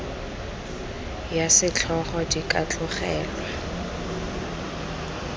ya setlhogo di ka tlogelwa